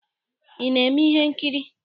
Ị na-eme ihe nkiri?